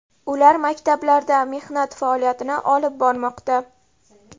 Ular maktablarda mehnat faoliyatini olib bormoqda.